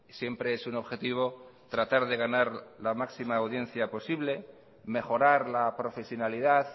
siempre es un objetivo tratar de ganar la máxima audiencia posible mejorar la profesionalidad